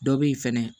Dɔ be yen fɛnɛ